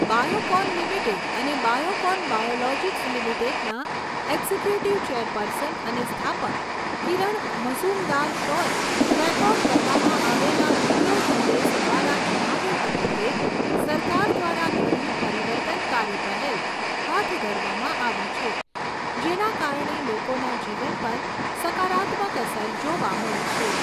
Biocon limited અને Biocon Biologics લિમિટેડના executive chairperson અને સ્થાપક કિરણ મઝુમદાર શૉએ રેકોર્ડ કરવામાં આવેલા વીડિયો સંદેશ દ્વારા જણાવ્યુંં હતું કે, સરકાર દ્વારા ઘણી પરિવર્તનકારી પહેલ હાથ ધરવામાં આવી છે, જેના કારણે લોકોના જીવન પર સકારાત્મક અસર જોવા મળી છે.